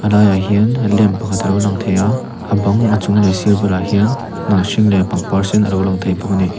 laiah hian in lem pakhat a lo lang thei a a bang a chung leh a sir bulah hian hnah hring leh pangpar sen a lo lang thei bawk a ni.